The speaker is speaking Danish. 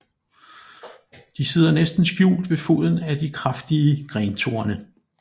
De sidder næsten skjult ved foden af de kraftige grentorne